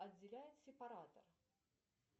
отделяет сепаратор